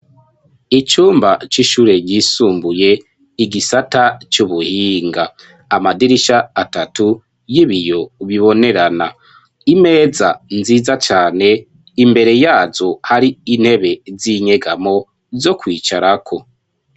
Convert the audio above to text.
Icumba, c'ishure ryisumbuye, igisata c'ubuhinga; amadirisha atatu, y'ibiyo bibonerana; imeza nziza cane, imbere yazo, hari intebe z'inyegamo, zo kwicarako.